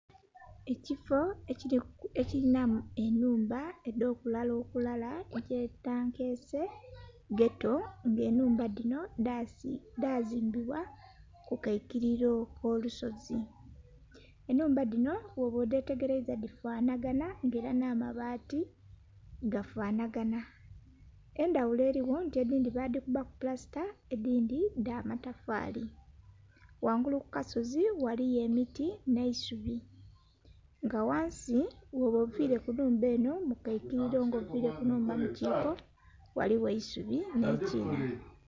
Ekifo ekilinha ennhumba edh'okulala okulala, kyetwandiyese ghetto, ng'ennhumba dhino dhazimbibwa ku kaikiliro k'olusozi. Ennhumba dhino bwoba odhetegeleiza dhifanhaganha, ng'ela nh'amabaati gafanhaganha. Endhaghulo eligho nti edhindhi badhikubaku pulasita edhindhi dha matafaali. Ghangulu ku kasozi ghaliyo emiti nh'eisubi. Nga ghansi bwoba oviile ku nhumba enho mu kaikiliro nga oviile ku nnhumba mu kiiko, ghaligho eisubi nh'ekiinha.